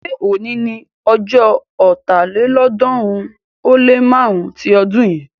ṣe òní ní ojó Ọ̀tálélọ́ọ̀ọ́dúnrún ó lé márùn-ún tí odun yin?